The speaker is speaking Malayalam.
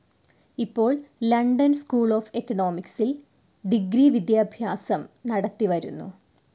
ഇപ്പോൾ ലണ്ടൻ സ്കൂൾ ഓഫ്‌ എക്കണോമിക്സിൽ ഡിഗ്രി വിദ്യാഭ്യാസം നടത്തി വരുന്നു.